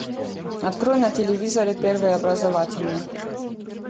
открой на телевизоре первый образовательный